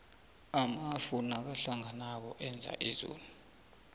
amafu nakahlanganako enza izulu